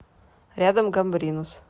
рядом гамбринус